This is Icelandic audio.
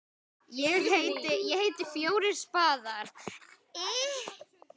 FJÓRIR spaðar.